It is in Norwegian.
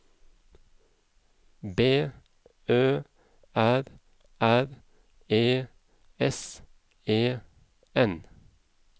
B Ø R R E S E N